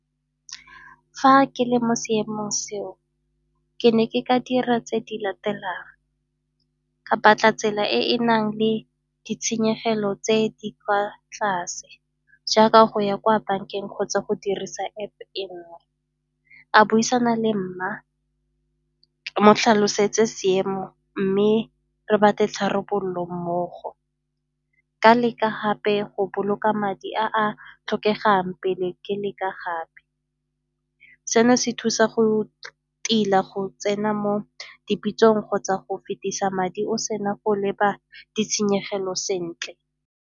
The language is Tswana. Fa ke le mo seemong seo ke ne ke ka dira tse di latelang, ka batla tsela e e nang le ditshenyegelo tse di kwa tlase jaaka go ya kwa bankeng kgotsa go dirisa App-e e nngwe. A buisana le mma ke mo tlhalosetse seemo mme re batle tharabololo mmogo, ka leka gape go boloka madi a a tlhokegang pele ke ne ka gape. Seno se thusa go tila go tsena mo dipitsong kgotsa go fetisa madi o sena go leba ditshenyegelo sentle.